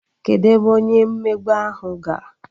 Kedụ ebe onye mmegbu ahụ gara?